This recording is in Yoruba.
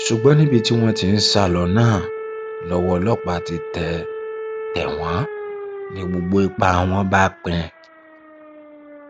um ṣùgbọn níbi tí wọn ti ń sá lọ náà lọwọ ọlọpàá ti um tẹ um tẹ wọn ni gbogbo ipá wọn bá pín